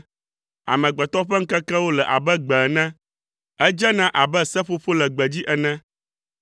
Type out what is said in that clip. Amegbetɔ ƒe ŋkekewo le abe gbe ene, edzena abe seƒoƒo le gbedzi ene;